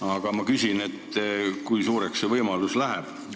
Aga ma küsin: kui suureks see võimalus kujuneb?